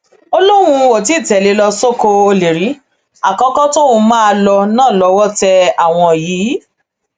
ó lóun ò tì í tẹlé e ló sọkò ọlẹ rí àkókò tóun máa lò náà lọwọ tẹ àwọn yìí